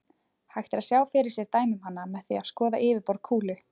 Hægt er að sjá fyrir sér dæmi um hana með því að skoða yfirborð kúlu.